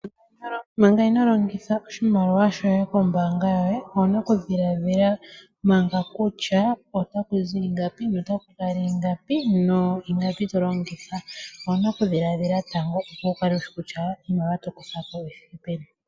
Manga ino longitha oshimaliwa shoye kombaanga yoye, owuna oku dhiladhila manga kutya otaku zi ingapi, notaku kala ingapi, no ingapi to longitha. Owuna oku dhiladhila tango opo wu kale wushi kutya iimaliwa to kutha ko oyi thike peni.